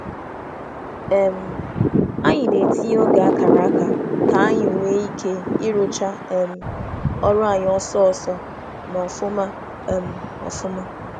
Anyị na-etinye oge a kara aka ma gbaa egwu ịrụ ọrụ ngwa ngwa na nke ọma. ọma.